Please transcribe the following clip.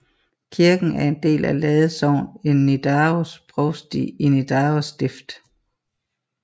Kirken er en del af Lade sogn i Nidaros provsti i Nidaros Stift